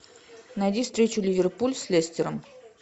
найди встречу ливерпуль с лестером